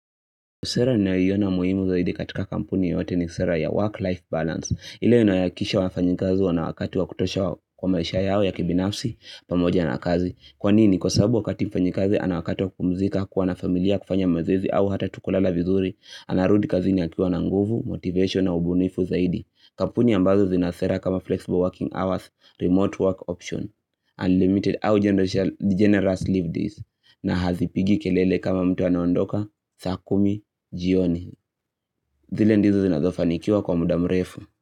Sera ninayiona muhimu zaidi katika kampuni yote ni sera ya work-life balance. Ile inayohakikisha wafanyikazi wana wakati wa kutosha kwa maisha yao ya kibinafsi pamoja na kazi, kwanini? Kwasababu wakati mfanyikazi ana wakati wa kupumzika, kuwa na familia, kufanya mazoezi au hata tu kulala vizuri anarudi kazini akiwa na nguvu, motivation na ubunifu zaidi. Kampuni ambazo zina sera kama flexible working hours, remote work option, unlimited au generous leave days na hazipigi kelele kama mtu anaondoka saa kumi jioni zile ndizo zinazofanikiwa kwa muda mrefu.